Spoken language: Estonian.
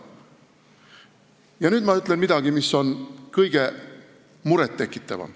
Ja nüüd ma ütlen midagi, mis kõige enam muret tekitab.